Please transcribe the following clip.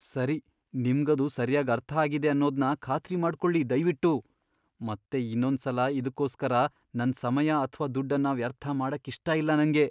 ಸರಿ, ನಿಮ್ಗದು ಸರ್ಯಾಗ್ ಅರ್ಥಾಗಿದೆ ಅನ್ನೋದ್ನ ಖಾತ್ರಿ ಮಾಡ್ಕೊಳಿ ದಯ್ವಿಟ್ಟು. ಮತ್ತೆ ಇನ್ನೊಂದ್ಸಲ ಇದ್ಕೋಸ್ಕರ ನನ್ ಸಮಯ ಅಥ್ವಾ ದುಡ್ಡನ್ನ ವ್ಯರ್ಥ ಮಾಡಕ್ಕಿಷ್ಟ ಇಲ್ಲ ನಂಗೆ.